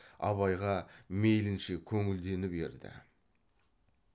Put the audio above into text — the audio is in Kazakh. абайға мейлінше көңілденіп ерді